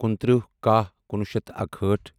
کُنتٕرہ کَہہ کُنوُہ شیٚتھ تہٕ اکہٲٹھ